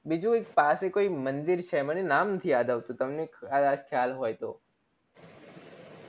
બીજું એક પાસે કોઈ મંદિર છે મને નામ નથી યાદ આવતું તમને કદાચ ખ્યાલ હોય તો